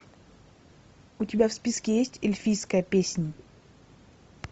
у тебя в списке есть эльфийская песнь